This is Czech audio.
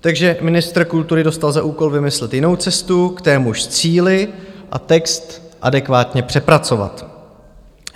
Takže ministr kultury dostal za úkol vymyslet jinou cestu k témuž cíli a text adekvátně přepracovat.